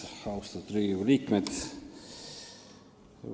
Austatud Riigikogu liikmed!